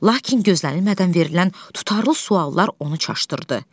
Lakin gözlənilmədən verilən tutarlı suallar onu çaşdırdı.